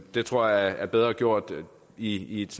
det tror jeg er bedre gjort i et